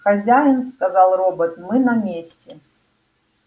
хозяин сказал робот мы на месте